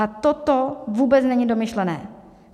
A toto vůbec není domyšlené.